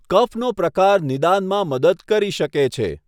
કફનો પ્રકાર નિદાનમાં મદદ કરી શકે છે.